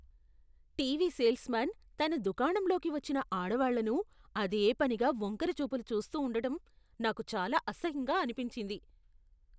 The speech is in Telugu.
టీవీ సేల్స్మాన్ తన దుకాణంలోకి వచ్చిన ఆడవాళ్ళను అదేపనిగా వంకరచూపులు చూస్తూ ఉండటం నాకు చాలా అసహ్యంగా అనిపించింది.